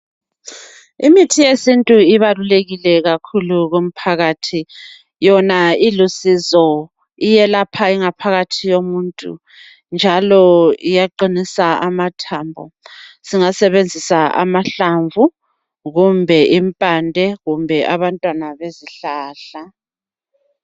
Imithi yesintu ibalulekile kakhulu kumphakathi. Yona ilusizo iyelapha ingaphakathi yomuntu njalo iyaqinisa amathambo. Singasebenzisa amahlamvu kumbe impande kumbe abantwana besihlahla.